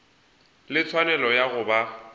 le tshwanelo ya go ba